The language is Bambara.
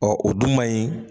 Ɔ o du manɲi